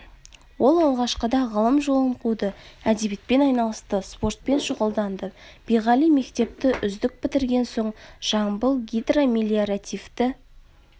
ол алғашқыда ғылым жолын қуды әдебиетпен айналысты спортпен шұғылданды биғали мектепті үздік бітірген соң жамбыл гидромелиоративті